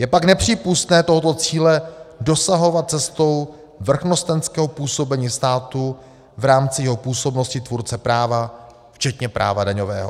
Je pak nepřípustné tohoto cíle dosahovat cestou vrchnostenského působení státu v rámci jeho působnosti tvůrce práva včetně práva daňového.